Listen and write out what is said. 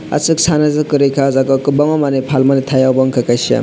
asuka Sana c kwri ka ah jaaga o kwbangma falmani tai unka omo kaisa.